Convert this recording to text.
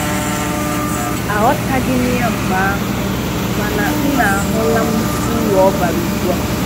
Aghọtaghị m ya mgbe ahụ mana m na ahụla m uru ọ bara ugbua